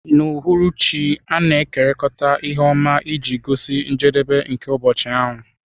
N'uhuruchi, a na-ekekọrịta ihe ọma iji gosi njedebe nke ụbọchị ahụ.